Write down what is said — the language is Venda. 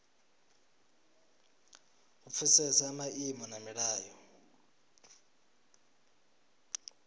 u pfesesa maimo na milayo